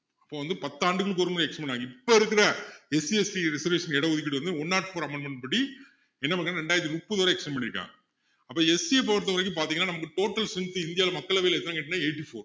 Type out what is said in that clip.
இப்போ வந்து பத்து ஆண்டுகளுக்கு ஒருமுறை extend பண்ணினாங்க இப்போ இருக்கிற SCST reservation இட ஒதுக்கீடு வந்து one not four amendment படி என்ன பண்ணிருக்காங்க ரெண்டாயிரத்து முப்பது வரை extend பண்ணியிருக்காங்க அப்போ SC அ பொறுத்த வரைக்கும் பாத்திங்கன்னா நமக்கு total strength இந்தியாvuல மக்களவையில எத்தனைன்னு கேட்டீங்கன்னா eighty-four